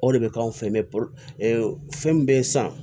O de bɛ k'anw fɛ mɛ fɛn min bɛ san